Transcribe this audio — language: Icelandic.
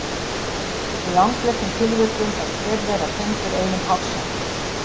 í langflestum tilvikum er hver þeirra tengdur einum hársekk